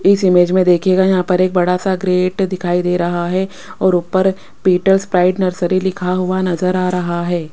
इस इमेज में देखिएगा यहां पर एक बड़ा सा ग्रेट दिखाई दे रहा है और ऊपर पीटल्स प्राइड नर्सरी लिखा हुआ नजरआ रहा है।